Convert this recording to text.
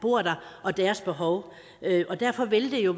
bor der og deres behov derfor vil det jo